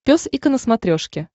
пес и ко на смотрешке